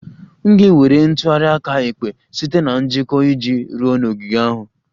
M ga-ewere ntụgharị aka ekpe site na njikọ iji ruo n'ogige ahụ?